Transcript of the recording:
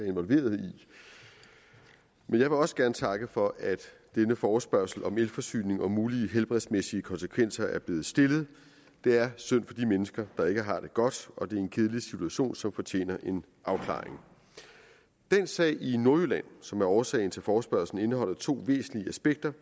involveret i jeg vil også gerne takke for at denne forespørgsel om elforsyning og mulige helbredsmæssige konsekvenser er blevet stillet det er synd for de mennesker der ikke har det godt og det er en kedelig situation som fortjener en afklaring den sag i nordjylland som er årsag til forespørgslen indeholder to væsentlige aspekter